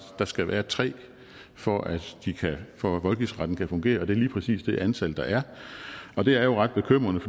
der skal være tre for at for at voldgiftsretten kan fungere og det er lige præcis det antal der er og det er jo ret bekymrende